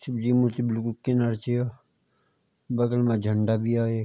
शिवजी मूर्ति बिलकुल किनर च य बगल मा झंडा भी या एक।